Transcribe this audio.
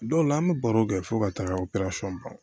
Dɔw la an bɛ baro kɛ fo ka taaga o ban